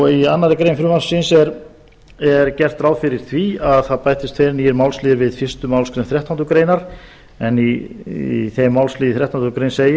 í annarri grein frumvarpsins er gert ráð fyrir því að það bætist tveir nýir málsliðir við fyrstu málsgreinar þrettándu greinar en í þeim málslið í þrettándu greinar segir